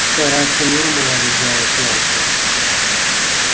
стараться миром уладить дело с янки